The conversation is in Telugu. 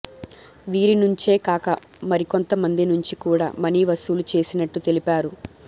వీరినుంచేకాక మరికొంత మంది నుంచి కూడా మనీ వసూలు చేసినట్లు తెలిపారు